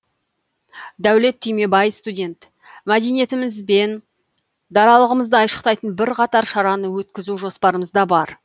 дәулет түймебай студент мәдениетіміз бен даралығымызды айшықтайтын бірқатар шараны өткізу жоспарымызда бар